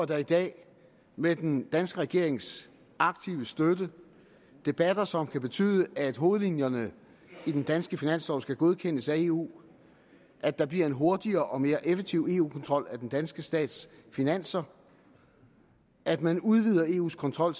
der i dag med den danske regerings aktive støtte debatter som kan betyde at hovedlinjerne i den danske finanslov skal godkendes af eu at der bliver en hurtigere og mere effektiv eu kontrol af den danske stats finanser at man udvider eus kontrol